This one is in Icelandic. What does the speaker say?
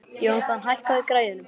Jónatan, hækkaðu í græjunum.